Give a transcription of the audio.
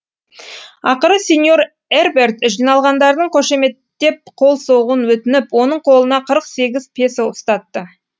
ақыры сеньор эрберт жиналғандардың қошеметтеп қол соғуын өтініп оның қолына қырық сегіз песо ұстатты